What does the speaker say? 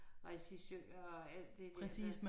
Resisører og alt det der